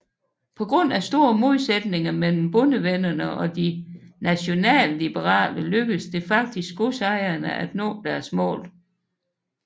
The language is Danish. På grund af store modsætninger mellem Bondevennerne og De Nationalliberale lykkedes det faktisk godsejerne at nå deres mål